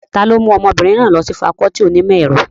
Ta ló mú ọmọbìnrin náà lọ sí fakọọti onímọ̀ ẹ̀rọ?